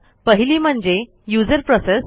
पहिली म्हणजे userप्रोसेस